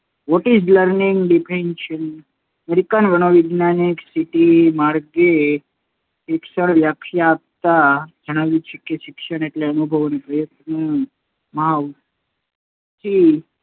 What is Learning Definition American મનોવૈજ્ઞાનિક C. T, મોર્ગને શિક્ષણની વ્યાખ્યા આપતાં જણાવ્યું છે કે, શિક્ષણ એટલે અનુભવ અને પ્રયત્ન કે મહાવરાથી